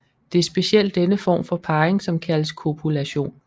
Det er specielt denne form for parring som kaldes kopulation